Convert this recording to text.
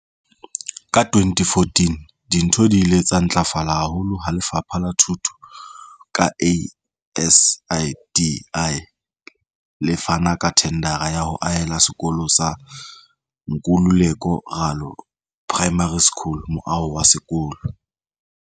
Ka 2014, dintho di ile tsa ntlafala haholo ha Lefapha la Thuto, ka ASIDI, le fana ka thendara ya ho ahela sekolo sa Nkululeko Ralo Primary School moaho wa sekolo.